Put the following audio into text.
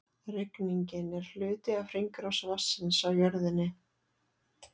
Rigningin er hluti af hringrás vatnsins á jörðinni.